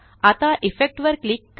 आता इफेक्ट वर क्लिक